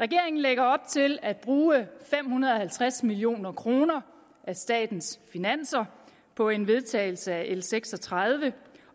regeringen lægger op til at bruge fem hundrede og halvtreds million kroner af statens finanser på en vedtagelse af l seks og tredive